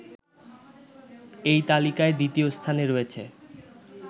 এই তালিকায় দ্বিতীয় স্থানে রয়েছে